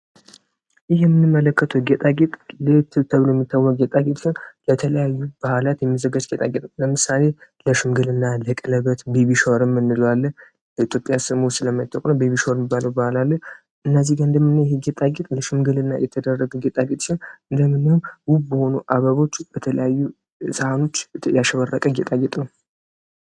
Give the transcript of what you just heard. ይህ የምንመለከተው ጌጣጌጥ ለየት ተብሎ የሚታወቅ ጌጣጌጥ ሲሆን ለተለያየ በዓላት የሚዘጋጅ ጌጣጌጥ ነው። ለምሳሌ ለሽምግልና፥ ለቀለበት፥ ቤቢሻወር የምንለው አለ ፤ ይህ ጌጣጌጥ ለሽምግልና የተደረገ ጌጣጌጥ ሲሆን በአበቦች፥ በተለያዩ ሳህኖች ያሸበረቀ ጌጣጌጥ ነው።